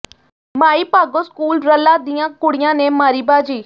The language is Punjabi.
ਮਾਈ ਭਾਗੋ ਸਕੂਲ ਰੱਲਾ ਦੀਆਂ ਕੁੜੀਆਂ ਨੇ ਮਾਰੀ ਬਾਜ਼ੀ